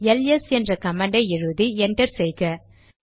LS என்ற கமாண்டை எழுதி என்டர் செய்க